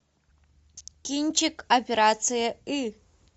кинчик операция ы